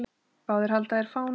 Báðir halda þeir á fánum.